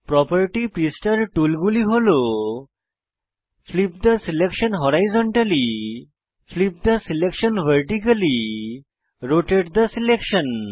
properties পৃষ্ঠার টুলগুলি হল flip the selection horizontally flip the selection vertically rotate the selection